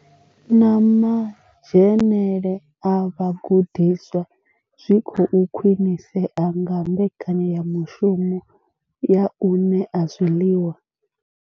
Na madzhenele a vhagudiswa zwi khou khwinisea nga mbekanyamushumo ya u ṋea zwiḽiwa.